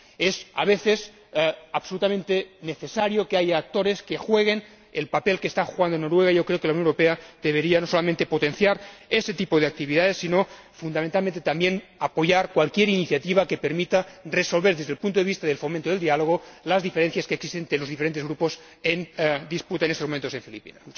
Es, a veces, absolutamente necesario que haya actores que jueguen el papel que está jugando Noruega y creo que la Unión Europea debería, no solamente potenciar ese tipo de actividades, sino fundamentalmente, también, apoyar cualquier iniciativa que permita resolver, desde el punto de vista del fomento del diálogo, las diferencias que existen entre los diferentes grupos en disputa en estos momentos en Filipinas.